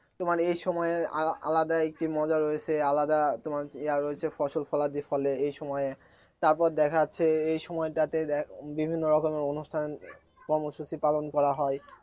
তোমার এই সময়ের আলাদা একটি মজা রয়েছে আলাদা তোমার ইয়া রয়েছে ফসলফলাদি ফলে এই সময়ে তারপর দেখা যাচ্ছে এই সময়টাতে বিভিন্ন রকম অনুষ্ঠান কর্মসূচী পালন করা হয়